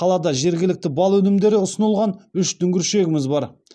қалада жергілікті бал өнімдері ұсынылған үш дүңгіршегіміз бар